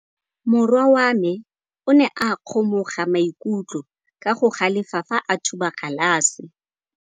Morwa wa me o ne a kgomoga maikutlo ka go galefa fa a thuba galase.